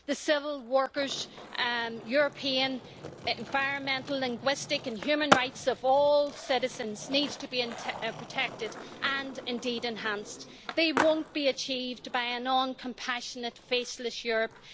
The civil, workers', European, environmental, linguistic and human rights of all citizens needs to be protected and indeed enhanced. They won't be achieved by a non compassionate, faceless Europe.